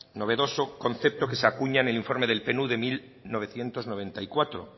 novedoso concepto que se acuña en el informe del de mil novecientos noventa y cuatro